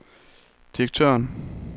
direktøren